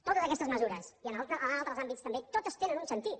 totes aquestes mesures i en altres àmbits també totes tenen un sentit